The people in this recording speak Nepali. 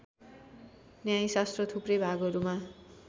न्यायशास्त्र थुप्रै भागहरूमा